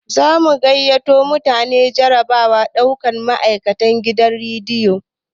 Zamu gayyato mutane jarabawar ɗaukan ma'aikatan gidan radio